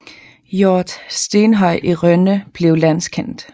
Hjorth stentøj i Rønne blev landskendt